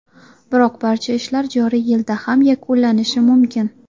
Biroq barcha ishlar joriy yilda ham yakullanishi mumkin.